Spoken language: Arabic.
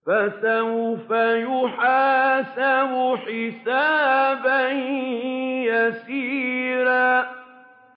فَسَوْفَ يُحَاسَبُ حِسَابًا يَسِيرًا